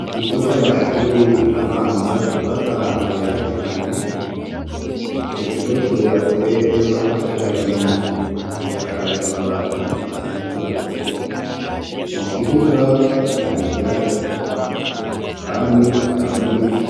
Ikigo c'amashure abanza cubatse ahantu heza cane. Ico kigo cubatse n'amatafari ahiye. Gisakaje amabati atukura. Mu kibuga hari ivyatsi. Kandi hakaba n'ibiti